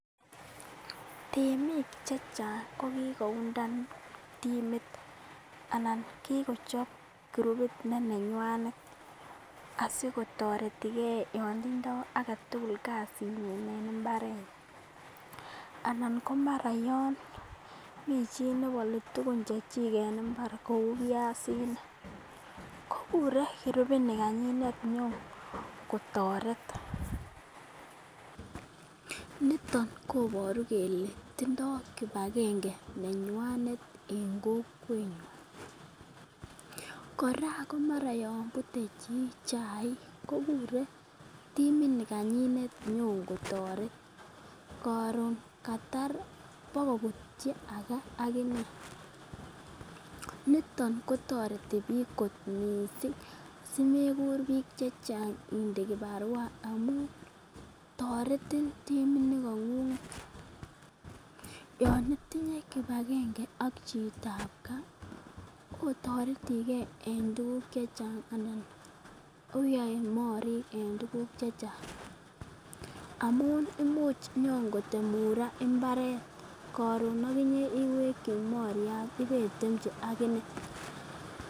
Temik che chang ko kigoundan timit anan ko kigochop kurupit nenywanet asikotoreti ge yon tindo age tugul kasinyin en mbarenyin. Anan ko mara yon mi chi ne bole tugun chechik en mbar kou biasinik ko kure kurupit nikanyinet konyokotoret. Niton koboru kole tindo kipagenge nenywanet en kokwenywan. Kora ko mara yon bute chi chaik, ko kure timit nikanyinet inyokotoret koron katar bokobutyi age ak ine. Nito kotoreti kot mising simekur bik che chang inde kibarua amun toretin timinikong'ung'et. Yon itinye kipagenge ak chitab ga otoreti ge en tuguk che chang anan oyoe morik en tuguk che chang amun imuch inyon kotemun ra imbaret koron ak inye iweki moryat ibetemchi ak ine.